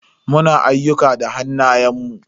Muna ayyuka da hannayen mu.